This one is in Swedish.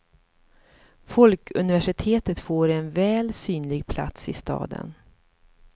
Folkuniversitet får en väl synlig plats i staden.